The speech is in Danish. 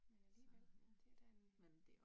Men alligevel. Det da en